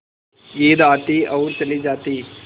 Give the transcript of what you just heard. ईद आती और चली जाती